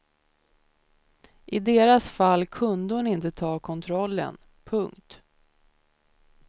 I deras fall kunde hon inte ta kontrollen. punkt